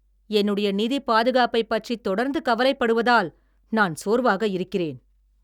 என்னுடைய நிதிப் பாதுகாப்பைப் பற்றி தொடர்ந்து கவலைப்படுவதால் நான் சோர்வாக இருக்கிறேன்.